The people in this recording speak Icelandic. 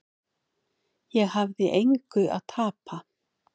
Ég hafði engu að tapa.